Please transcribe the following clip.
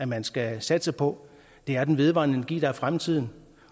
man skal satse på det er den vedvarende energi der er fremtiden